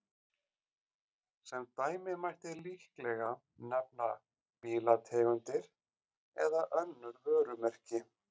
Sem dæmi mætti líklega nefna bílategundir eða önnur vörumerki.